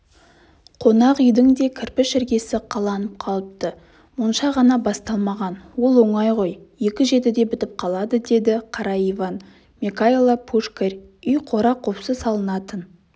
қонақ үйдің де кірпіш іргесі қаланып қалыпты монша ғана басталмаған ол оңай ғой екі жетіде бітіп қалады деді қара иван мекайла пушкарь үй қора-қопсы салынатын